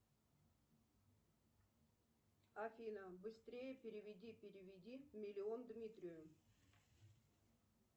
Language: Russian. афина быстрее переведи переведи миллион дмитрию